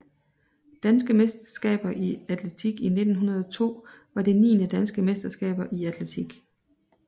Danske mesterskaber i atletik 1902 var det niende Danske mesterskaber i atletik